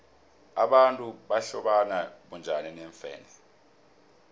abantu bahlobana bunjani neemfene